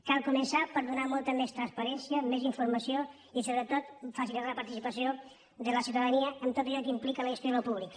cal començar per donar molta més transparència més informació i sobretot facilitar la participació de la ciutadania en tot allò que implica la gestió d’allò públic